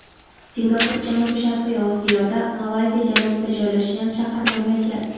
Singapur janubi-sharqiy Osiyoda, Malayziya janubida joylashgan shahar-mamlakat.